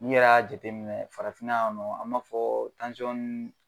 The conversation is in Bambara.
N'i yɛrɛ y'a jateminɛ farafina yan nɔ, an b'a tansɔn